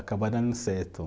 Acabou dando certo.